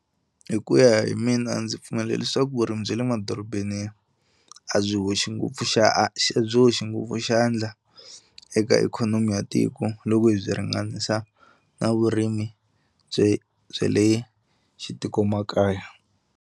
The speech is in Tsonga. Hi ku ya hi mina a ndzi pfumela leswaku vurimi bya le madorobeni a byi hoxi ngopfu a byi hoxi ngopfu xandla eka ikhonomi ya tiko loko hi byi ringanisa na vurimi bye bya le xitikomakaya.